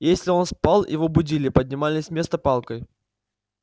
если он спал его будили поднимали с места палкой